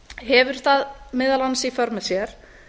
hefur það meðal annars í för með sér